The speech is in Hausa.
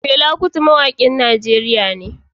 Fela Kuti mawakin Najeriya ne